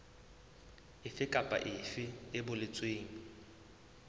efe kapa efe e boletsweng